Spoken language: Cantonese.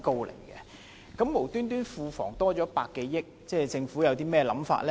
庫房無緣無故增加百多億元，政府有甚麼打算呢？